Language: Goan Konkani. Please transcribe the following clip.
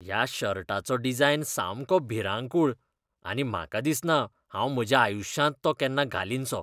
ह्या शर्टाचो डिझायन सामको भिरांकूळ आनी म्हाका दिसना हांव म्हज्याआयुश्यांत तो केन्ना घालीनसो.